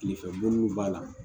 Kilefɛ bɔn mun b'a la